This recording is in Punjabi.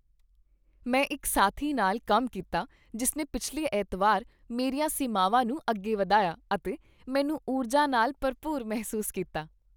ਮੈਂ ਇੱਕ ਸਾਥੀ ਨਾਲ ਕੰਮ ਕੀਤਾ ਜਿਸਨੇ ਪਿਛਲੇ ਐਤਵਾਰ ਮੇਰੀਆਂ ਸੀਮਾਵਾਂ ਨੂੰ ਅੱਗੇ ਵਧਾਇਆ ਅਤੇ ਮੈਨੂੰ ਊਰਜਾ ਨਾਲ ਭਰਪੂਰ ਮਹਿਸੂਸ ਕੀਤਾ।